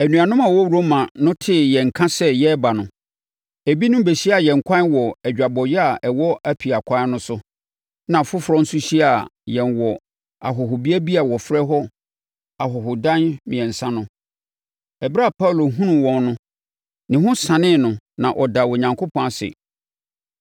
Anuanom a wɔwɔ Roma no tee yɛn nka sɛ yɛreba no, ebinom bɛhyiaa yɛn ɛkwan wɔ adwabɔeɛ a ɛwɔ Apia ɛkwan no so na afoforɔ nso hyiaa yɛn wɔ ahɔhobea bi a wɔfrɛ no Ahɔhodan Mmiɛnsa no. Ɛberɛ a Paulo hunuu wɔn no, ne ho sanee no na ɔdaa Onyankopɔn ase.